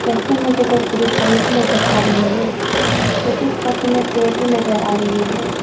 यहां पे मुझे दो पुलिस वाले भी नजर आ रहे हैं मुझे इस फोटो में पेड़ भी नजर आ रही हैं।